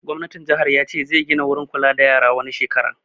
Gwamnatin jihar ya ce zai gina wurin kula da yara wani shekara